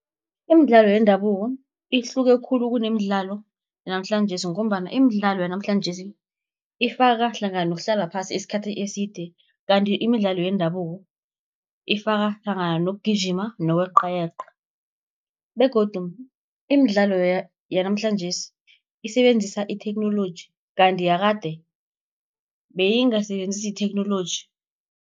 Imidlalo yendabuko ihluke khulu kuneemdlalo yanamhlanjesi, ngombana imidlalo yanamhlanjesi, ifaka hlangana nokuhlala phasi isikhathi eside. Kanti imidlalo yendabuko ifaka hlangana nokugijima, nokweqayeqa, begodu imidlalo yanamhlanjesi isebenzisa itheknoloji, kanti yakade beyingasebenzisi itheknoloji.